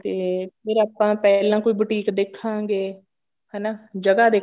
ਤੇ ਫੇਰ ਆਪਾਂ ਪਹਿਲਾਂ ਕੋਈ boutique ਦੇਖਾਂਗੇ ਹਨਾ ਜਗ੍ਹਾ